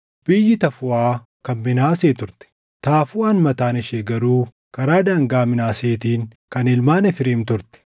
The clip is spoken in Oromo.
Biyyi Tafuuʼaa kan Minaasee turte; Tafuuʼaan mataan ishee garuu karaa daangaa Minaaseetiin kan ilmaan Efreem turte.